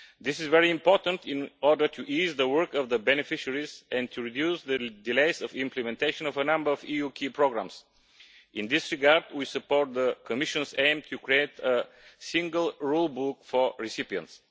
This is very important in order to ease the work of the beneficiaries, and to reduce the delays in implementation of a number of EU key programmes. In this regard, we support the Commission's aim of creating a single rule book for recipients.